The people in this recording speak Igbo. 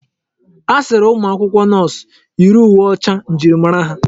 A sịrị umụ akwụkwọ nọọsụ yiri uwe ọcha njirimara ha.